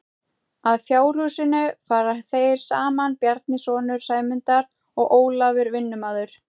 Að fjárhúsinu fara þeir saman Bjarni sonur Sæmundar og Ólafur vinnumaður.